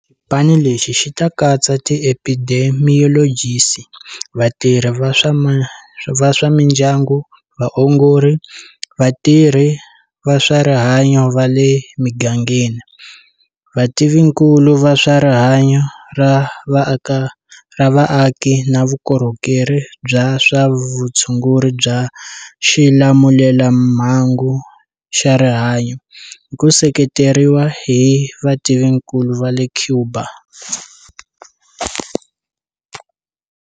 Xipano lexi xi ta katsa ti epidemiyolojisi, vatirhi va swa mindyangu, vaongori, vatirhi va swa rihanyo va le migangeni, vativinkulu va swa rihanyo ra vaaki na vukorhokeri bya swa vutshunguri bya xilamulelamhangu xa rihanyo, hi ku seketeriwa hi vativinkulu va le Cuba.